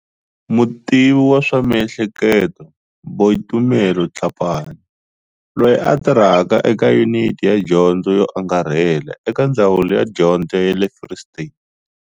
Mutivi wa swa miehleketo, Boitumelo Tlhapane, loyi a tirhaka eka Yuniti ya Dyondzo yo Angarhela eka Ndzawulo ya Dyondzo ya le Free State.